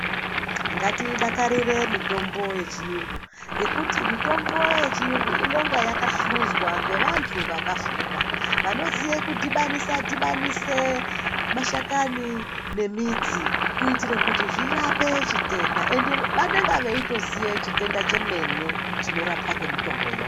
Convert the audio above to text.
Ngati dakarire mitombo ye chiyungu ngekuti mitombo ye chiyungu inonga yaka hluzwa nge vantu vakafunda vanoziye kudhibanisa dhibanise mashakani ne midzi kuitire kuti zvirape chitende ende vanenge veito ziye chitenda chemene chino rapwa nge mitomboyo.